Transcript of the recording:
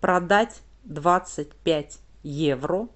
продать двадцать пять евро